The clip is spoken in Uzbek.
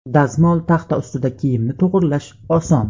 Dazmol taxta ustida kiyimni to‘g‘rilash oson.